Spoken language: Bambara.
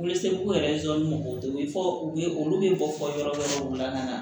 Welese ko yɛrɛ mɔgɔw tɛ u bɛ fɔ u ye olu bɛ bɔ fɔ yɔrɔ wɛrɛw la ka na